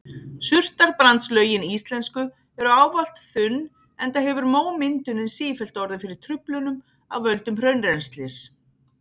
Surtarbrandslögin íslensku eru ávallt þunn enda hefur mómyndunin sífellt orðið fyrir truflunum af völdum hraunrennslis.